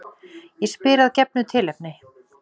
Ég spyr að gefnu tilefni.